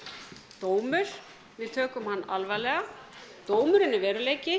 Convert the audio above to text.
dómur við tökum hann alvarlega dómurinn er veruleiki